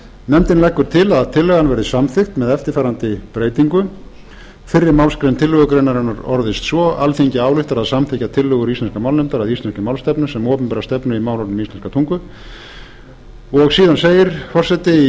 nefndin leggur til að tillagan verði samþykkt með eftirfarandi breytingu fyrri málsgrein tillögugreinarinnar orðist svo alþingi ályktar að samþykkja tillögur íslenskrar málnefndar að íslenskri málstefnu sem opinbera stefnu í málefnum íslenskrar tungu síðan segir